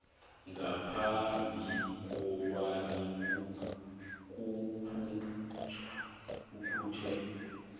ngaphambi kobana kukhutjhwe